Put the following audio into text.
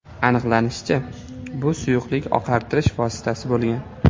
Aniqlanishicha, bu suyuqlik oqartirish vositasi bo‘lgan.